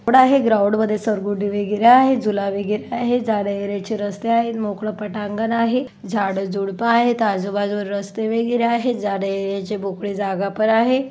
Road आहे ground वर वगैरे आहे झूला वगैरे आहे जाण्यायेण्याची रस्ते आहेत मोकळं पटांगण आहे झाड झुडप आहेत आजूबाजूला रस्ते वगैरे आहेत जाण्यायेण्याची मोकळी जागा पण आहे.